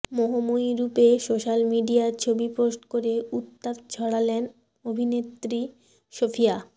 মোহময়ী রূপে সোশ্যাল মিডিয়ায় ছবি পোস্ট করে উত্তাপ ছড়ালেন অভিনেত্রী সোফিয়া